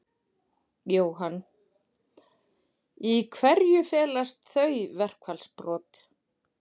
Jóhann: Í hverju felast þau verkfallsbrot?